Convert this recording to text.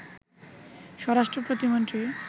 স্বরাষ্ট্র প্রতিমন্ত্রী